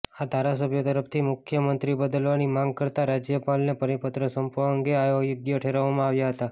આ ધારાસભ્યો તરફથી મુખ્યમંત્રી બદલવાની માંગ કરતા રાજ્યપાલને પરિપત્ર સોંપવા અંગે અયોગ્ય ઠેરવવામાં આવ્યા હતા